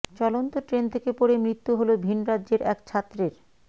চলন্ত ট্রেন থেকে পড়ে মৃত্যু হল ভিনরাজ্যের এক ছাত্রের